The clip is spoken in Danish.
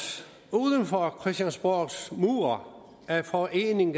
uden for christiansborgs mure er foreningen